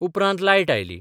उपरांत लायट आयली.